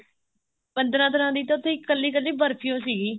ਪੰਦਰਾਂ ਤਰ੍ਹਾਂ ਦੀ ਉੱਥੇ ਕੱਲੀ ਕੱਲੀ ਬਰਫੀ ਓ ਸੀਗੀ